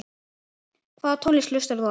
Hvaða tónlist hlustar þú á?